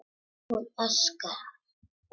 Hún öskrar.